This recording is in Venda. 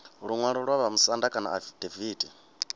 luṅwalo lwa vhamusanda kana afidaviti